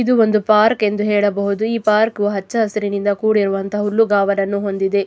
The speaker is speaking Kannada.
ಇದು ಒಂದು ಪಾರ್ಕ್ ಎಂದು ಹೇಳಬಹುದು ಈ ಪಾರ್ಕ್ ಹಚ್ಚ ಹಸಿರಿನಿಂದ ಕೂಡಿರುವಂತಹ ಹುಲ್ಲುಗಾವಲನ್ನು ಹೊಂದಿದೆ.